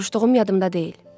Soruşduğum yadımda deyil.